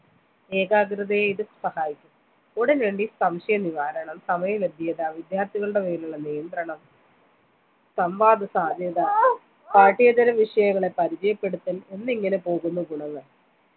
ഏകാകൃതയെ ഇത് സഹായിച്ചു ഉടനടി സംശയനിവാരണം സമയവെദ്യത വിദ്യാർത്ഥികളുടെ മേലുള്ള നിയന്ത്രണം സംവാദ സാധ്യത പാഠ്യേതര വിഷയങ്ങളെ പരിചയപ്പെടുത്തൽ എന്നിങ്ങനെ പോകുന്നു ഗുണങ്ങൾ